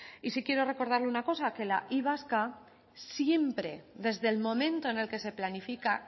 y sí quiero recordarle una cosa la y vasca siempre desde el momento en el que se planifica